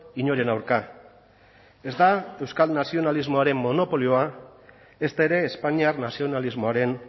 inoren aurka ez da euskal nazionalismoaren monopolioa ezta ere espainiar nazionalismoaren